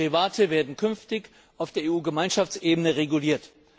Derivate werden künftig auf der Gemeinschaftsebene reguliert.